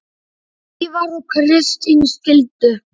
Ívar og Kristín skildu.